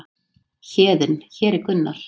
Héðinn: Hér er Gunnar.